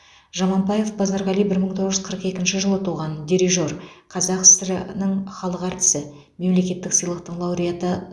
жаманбаев базарғали бір мың тоғыз жүз қырық екінші жылы туған дирижер қазақ сср інің халық әртісі мемлекеттік сыйлықтың лауреаты